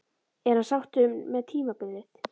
Er hann sáttur með tímabilið?